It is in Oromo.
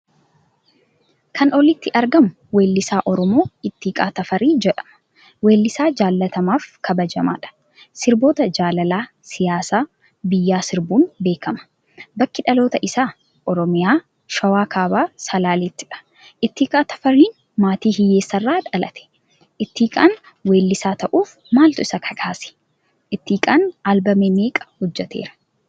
Kan olitti argamu weellisa oromoo ittiqaa Tafari jedhama. weellisa jaallatamaf kabajamaadha. sirboota jaalala, siyaasa ,biyyaa sirbuun beekama. bakki dhaloota isa oromiyaa; shawa kaabaa salalettidha. Ittiqaa tafari maatii hiyyeessarra dhalate. Ittiqaan wellisa tahuuf maaltu isa kakase? ittiqaan albema meeqa hojjetera?